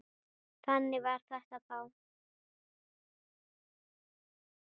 Þannig var þetta þá.